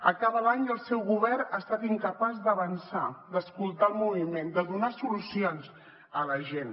acaba l’any i el seu govern ha estat incapaç d’avançar d’escoltar el moviment de donar solucions a la gent